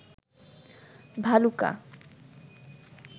Bhaluka